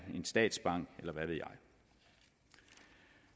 statsbank eller